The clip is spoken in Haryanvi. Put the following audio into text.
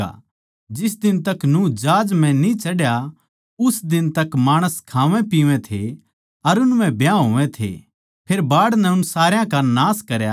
जिस दिन ताहीं नूह जहाज न्ही चढ़या उस दिन ताहीं माणस खावैपीवै थे अर उन म्ह ब्याह होवै थे फेर बाढ़ नै उन सारया का नाश करया